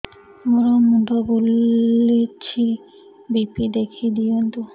ମୋର ମୁଣ୍ଡ ବୁଲେଛି ବି.ପି ଦେଖି ଦିଅନ୍ତୁ